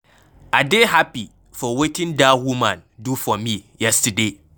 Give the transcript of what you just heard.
I dey happy for wetin dat woman do for me yesterday.